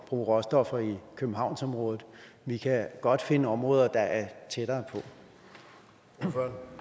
råstoffer i københavnsområdet vi kan godt finde områder der er tættere på